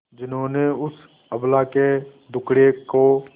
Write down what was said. जिन्होंने उस अबला के दुखड़े को